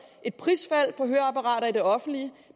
et prisfald på høreapparater i det offentlige